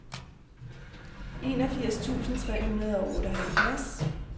enogfirs tusind tre hundrede og otteoghalvfjerds